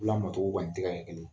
Lamɔ togo kɔni tɛ ka kɛ kelen ye